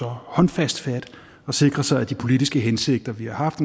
håndfast fat og sikrer sig at de politiske hensigter vi har haft